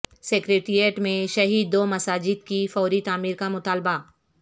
secretariat میں شہید دو مساجد کی فوری تعمیر کا مطالبہ